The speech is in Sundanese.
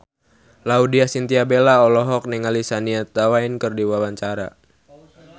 Laudya Chintya Bella olohok ningali Shania Twain keur diwawancara